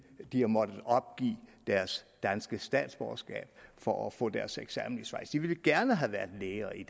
de har måttet opgive deres danske statsborgerskab for at få deres eksamen i schweiz de ville gerne have været læger i